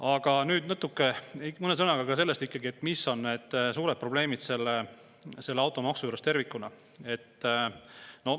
Aga nüüd natuke ikkagi mõne sõnaga ka sellest, mis on need suured probleemid selle automaksu puhul tervikuna.